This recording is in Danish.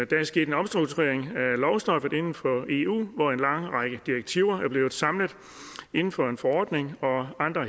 der er sket en omstrukturering af lovstoffet inden for eu hvor en lang række direktiver er blevet samlet inden for en forordning og andre